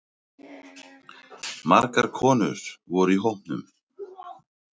Margar konur voru í hópnum